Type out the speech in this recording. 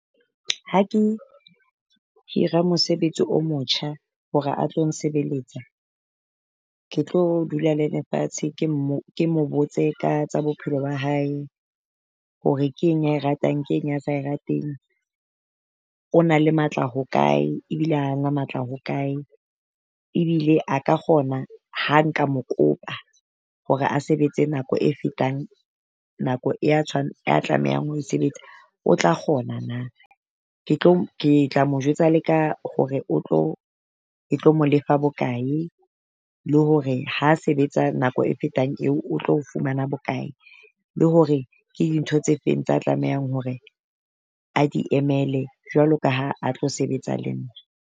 Ha ke hira mosebetsi o motjha hore a tlo nsebeletsa, ke tlo dula leena fatshe ke ke mo botse ka tsa bophelo ba hae hore ke eng ya e ratang, keng a sa e rateng. O na le matla hokae ebile ha na matla hokae. Ebile a ka kgona ha nka mo kopa hore a sebetse nako e fetang nako ya ya tlamehang ho e sebetsa, o tla kgona na. Ke tlo ke tla mo jwetsa le ka hore o tlo e mo lefa bokae, le hore ha sebetsa nako e fetang eo o tlo fumana bokae le hore ke dintho tse feng tse tlamehang hore a di emele jwalo ka ha a tlo sebetsa le nna.